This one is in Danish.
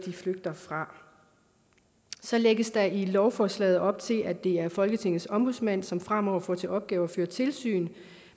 flygter fra så lægges der i lovforslaget op til at det er folketingets ombudsmand som fremover får til opgave at føre tilsyn